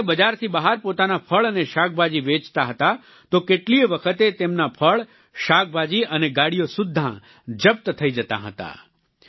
જો તે બજારથી બહાર પોતાના ફળ અને શાકભાજી વેચતા હતા તો કેટલીયે વખત તેમના ફળ શાકભાજી અને ગાડીઓ સુદ્ધા જપ્ત થઈ જતાં હતાં